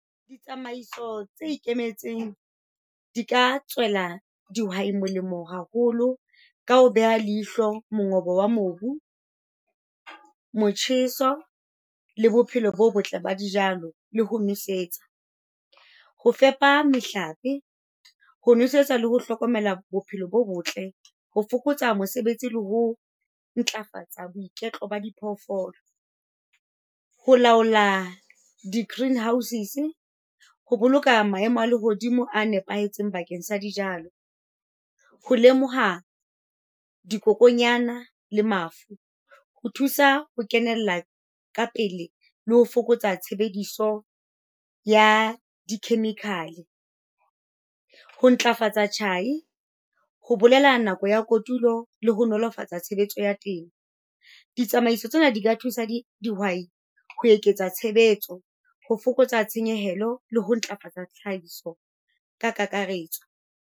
Ditsamaiso tse ikemetseng, di ka tswela dihwai molemo haholo ka ho beha leihlo mongobo wa mobu, motjheso, le bophelo bo botle ba dijalo, le ho nwesetsa. Ho fepa mehlape, ho nosetsa le ho hlokomela bophelo bo botle, ho fokotsa mosebetsi le ho ntlafatsa boiketlo ba di phoofolo. Ho laola di-green houses, ho boloka maemo a lehodimo a nepahetseng bakeng sa dijalo, ho lemoha dikokonyana le mafu, ho thusa ho kenella ka pele le ho fokotsa tshebediso ya di-chemical. Ho ntlafatsa tjhai, ho bolela nako ya kotulo le ho nolofatsa tshebetso ya teng. Ditsamaiso tsena di ka thusa dihwai ho eketsa tshebetso, ho fokotsa tshenyehelo le ho ntlafatsa tlhahiso ka kakaretso.